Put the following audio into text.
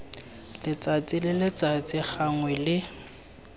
letsatsi le letsatsi gangwe le